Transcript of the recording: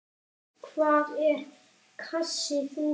Hvað er hver kassi þungur?